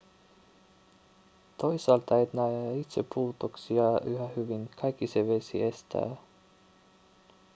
toisaalta et näe itse putouksia yhä hyvin kaikki se vesi estää